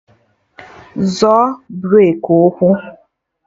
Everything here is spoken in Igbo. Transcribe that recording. Zọọ breki ụkwụ!